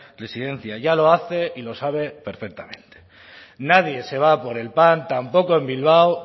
residencia ya lo hace y lo sabe perfectamente nadie se va a por el pan tampoco en bilbao